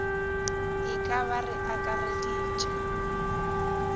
e ka ba re akareditše